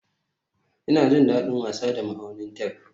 Ina jin daɗin wasa da ma'aunin tef